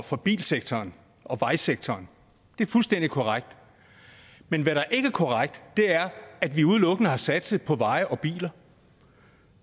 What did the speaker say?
fra bilsektoren og vejsektoren det er fuldstændig korrekt men hvad der ikke er korrekt er at vi udelukkende har satset på veje og biler